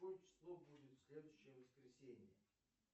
какое число будет следующее воскресенье